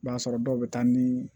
I b'a sɔrɔ dɔw bɛ taa ni